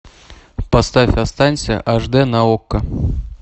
поставь останься аш дэ на окко